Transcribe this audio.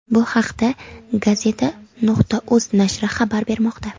Bu haqda Gazeta.uz nashri xabar bermoqda .